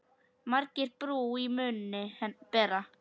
Margir brú í munni bera.